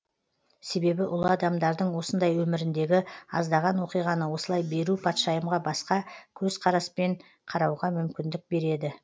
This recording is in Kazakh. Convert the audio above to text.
себебі ұлы адамдардың осындай өміріндегі аздаған оқиғаны осылай беру патшайымға басқа көз қараспен қарауға мүмкіндік береді